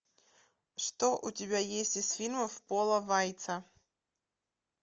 что у тебя есть из фильмов пола вайца